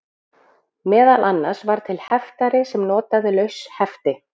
Meðal annars var til heftari sem notaði laus hefti.